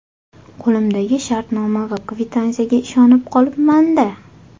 Qo‘limdagi shartnoma va kvitansiyaga ishonib qolibman-da.